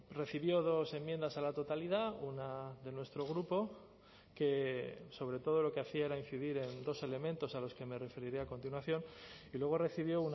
recibió dos enmiendas a la totalidad una de nuestro grupo que sobre todo lo que hacía era incidir en dos elementos a los que me referiré a continuación y luego recibió